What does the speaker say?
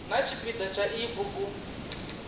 na tshipida tsha iyi bugu